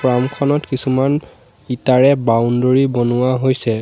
Farm খনত কিছুমান ইটাৰে বাউণ্ডৰী বনোৱা হৈছে।